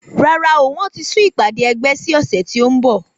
Rárá o wọn ti sún ìpàdé ẹgbẹ́ sí ọ̀sẹ̀ tí o nbọ